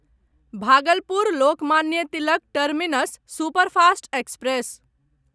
Bhagalpur Lokmanya Tilak terminus superfast express